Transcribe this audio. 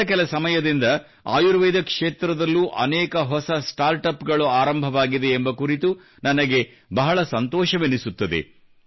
ಕಳೆದ ಕೆಲ ಸಮಯದಿಂದ ಆಯುರ್ವೇದ ಕ್ಷೇತ್ರದಲ್ಲೂ ಅನೇಕ ಹೊಸ ಸ್ಟಾರ್ಟ್ ಅಪ್ ಗಳು ಆರಂಭವಾಗಿದೆ ಎಂಬ ಕುರಿತು ನನಗೆ ಬಹಳ ಸಂತೋಷವೆನಿಸುತ್ತದೆ